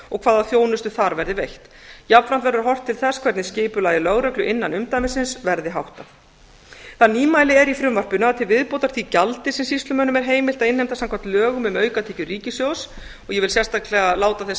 og hvaða þjónusta þar verði veitt jafnframt verður horft til þess hvernig skipulagi lögreglu innan umdæmisins verði háttað það nýmæli er í frumvarpinu að til viðbótar því gjaldi sem sýslumönnum er heimilt að innheimta samkvæmt lögum um aukatekjur ríkissjóðs og ég vil sérstaklega láta þess